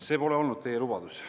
See pole olnud teie lubadus.